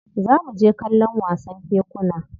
Za mu je kallon wasan kekuna.